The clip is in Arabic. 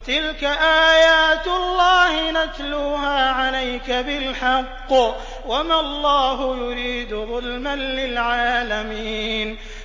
تِلْكَ آيَاتُ اللَّهِ نَتْلُوهَا عَلَيْكَ بِالْحَقِّ ۗ وَمَا اللَّهُ يُرِيدُ ظُلْمًا لِّلْعَالَمِينَ